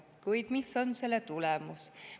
Kuid mis on selle tulemus?